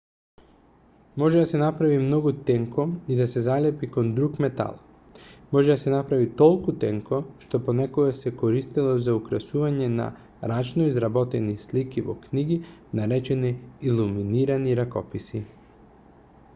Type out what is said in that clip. може да се направи многу тенко и да се залепи кон друг метал може да се направи толку тенко што понекогаш се користело за украсување на рачно изработени слики во книги наречени илуминирани ракописи